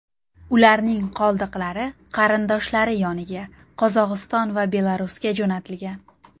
Ularning qoldiqlari qarindoshlari yoniga Qozog‘iston va Belarusga jo‘natilgan.